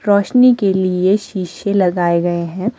रोशनी के लिए शीशे लगाए गए हैं।